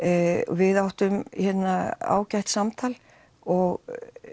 við áttum ágætt samtal og